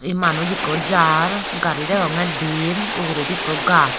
manuj ikko jar gari degongye diyen uguredi ikko gajh.